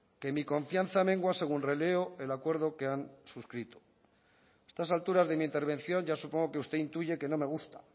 que mi confianza mengua según releo el acuerdo que han suscrito a estas alturas de mi intervención ya supongo que usted intuye que no me gusta